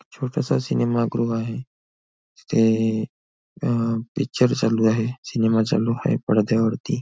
छोटासा सिनेमागृह आहे तिथे अह पिक्चर चालू आहे सिनेमा चालू आहे पडद्यावरती.